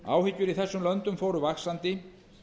áhyggjur í þessum löndum fóru vaxandi